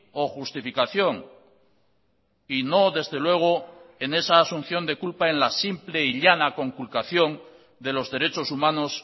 o justificación y no desde luego en esa asunción de culpa en la simple y llana conculcación de los derechos humanos